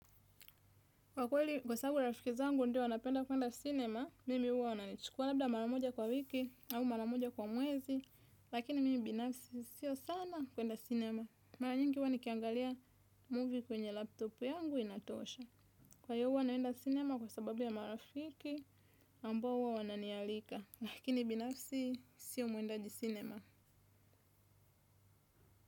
Kwa kweli kwa sababu rafiki zangu ndo wanapenda kuenda cinema, mimi uwa wananchukua labda maramoja kwa wiki au maramoja kwa mwezi, lakini mimi binafsi sio sana kuenda cinema. Maranyingi uwa nikiangalia movie kwenye laptopu yangu inatosha. Kwa iyo huwa naenda cinema kwa sababu ya marafiki ambao uwa wananialika, lakini binafsi sio muendaji cinema.